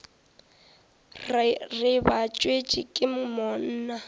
re ba tswetšwe ke monna